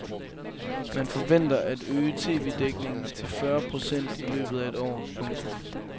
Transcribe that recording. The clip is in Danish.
Man forventer at øge TVdækningen til fyrre procent i løbet af et år. punktum